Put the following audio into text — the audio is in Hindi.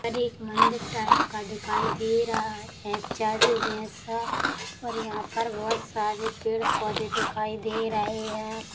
ये एक मंदिर टाइप का दिखाई दे रहा है एक चर्च जैसा और यहाँ पर बहुत सारे पेड़ पौधे दिखाई दे रहे हैं ।